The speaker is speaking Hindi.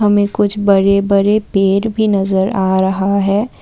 में कुछ बड़े बड़े पेड़ भी नजर आ रहा है।